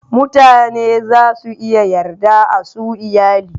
Mutane za su iya yarda a su iyali.